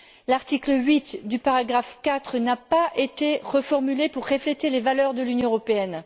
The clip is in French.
L'article 8, paragraphe 4, n'a pas été reformulé pour refléter les valeurs de l'Union européenne.